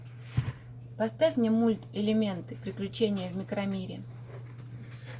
поставь мне мульт элементы приключения в микромире